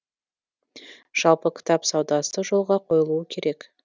жалпы кітап саудасы жолға қойылуы керек